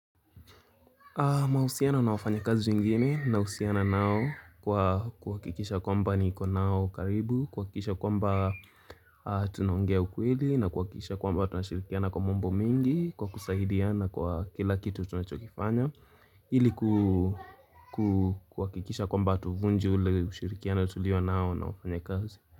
Mahusiano na wafanyi kazi wengine na husiana nao kwa kuhakikisha kwamba niko nao karibu, kuhakikisha kwamba tunaongea ukweli na kukikisha kwamba tunashirikiana kwa mambo mengi kwa kusaidiana kwa kila kitu tunachokifanya ili ku ku kuhakikisha kwamba tuvunje ule ushirikiano tulio nao na wafanya kazi.